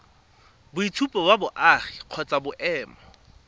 boitshupo ba boagi kgotsa boemo